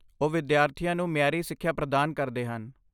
ਉਹ ਵਿਦਿਆਰਥੀਆਂ ਨੂੰ ਮਿਆਰੀ ਸਿੱਖਿਆ ਪ੍ਰਦਾਨ ਕਰਦੇ ਹਨ।